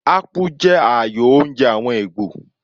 Akpu jẹ́ ààyò oúnjẹ àwọn Ìgbò.